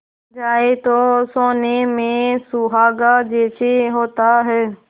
जाए तो सोने में सुहागा जैसा होता है